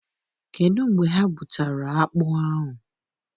Kedụ mgbe ha bụtara akpụ ahụ?